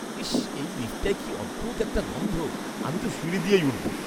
ইশ্, এই লিফ্টটায় কী অদ্ভুত একটা গন্ধ। আমি তো সিঁড়ি দিয়েই উঠবো।